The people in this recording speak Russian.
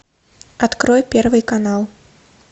открой первый канал